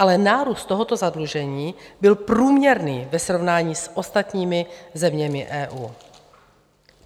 Ale nárůst tohoto zadlužení byl průměrný ve srovnání s ostatními zeměmi EU.